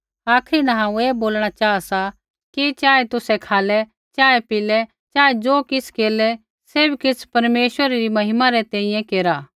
आखरी न हांऊँ ऐ बोलणा चाहा कि चाहे तुसै खालै चाहे पिया चाहे ज़ो किछ़ केरलै सैभ किछ़ परमेश्वरै री महिमा री तैंईंयैं केरा